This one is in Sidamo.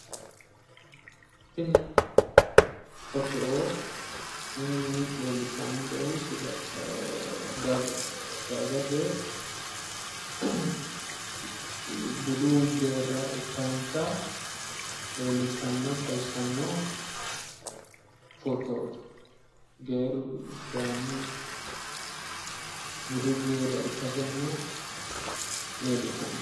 tini foto leellishshaankehu dagate budu geerra ikkansa leellishshanno xawissanno fotooti geerru sidaamu budu geerra ikkansanna leellishshanno.